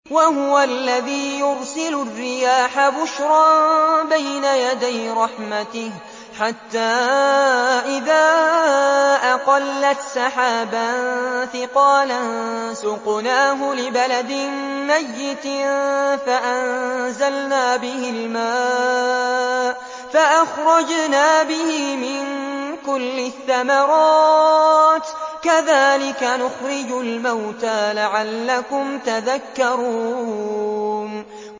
وَهُوَ الَّذِي يُرْسِلُ الرِّيَاحَ بُشْرًا بَيْنَ يَدَيْ رَحْمَتِهِ ۖ حَتَّىٰ إِذَا أَقَلَّتْ سَحَابًا ثِقَالًا سُقْنَاهُ لِبَلَدٍ مَّيِّتٍ فَأَنزَلْنَا بِهِ الْمَاءَ فَأَخْرَجْنَا بِهِ مِن كُلِّ الثَّمَرَاتِ ۚ كَذَٰلِكَ نُخْرِجُ الْمَوْتَىٰ لَعَلَّكُمْ تَذَكَّرُونَ